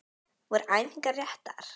Voru æfingarnar réttar?